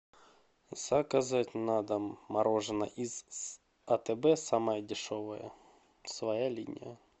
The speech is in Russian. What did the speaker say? заказать на дом мороженое из атб самое дешевое своя линия